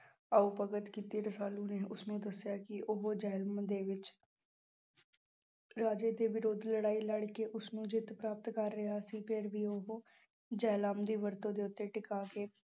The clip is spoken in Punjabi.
ਆਓ ਭਗਤ ਕੀਤੀ ਰਸਾਲੂ ਨੇ ਉਸਨੂੰ ਦੱਸਿਆ ਕਿ ਉਹ ਜਹਿਲਮ ਦੇ ਵਿੱਚ ਰਾਜੇ ਦੇ ਵਿਰੁੱਧ ਲੜਾਈ ਲੜਕੇ ਉਸਨੂੰ ਜਿੱਤ ਪ੍ਰਾਪਤ ਕਰ ਰਿਹਾ ਸੀ, ਫਿਰ ਵੀ ਉਹ ਜਹਿਲਮ ਦੀ ਵਰਤੋਂ ਦੇ ਉੱਤੇ ਟਿਕਾ ਕੇ